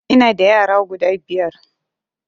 Ina da yara guda biyar